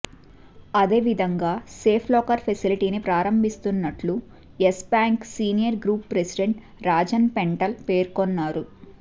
అదే విధంగా safe locker ఫెసిలిటీని ప్రారంభిస్తున్నట్లు Yes bank senior group president Rajan Pental పేర్కొన్నారు